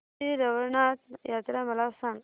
श्री रवळनाथ यात्रा मला सांग